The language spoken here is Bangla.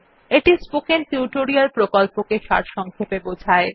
এটি স্পোকেন টিউটোরিয়াল প্রকল্পটি সারসংক্ষেপে বোঝায়